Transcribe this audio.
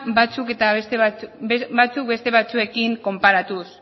batzuk beste batzuekin konparatuz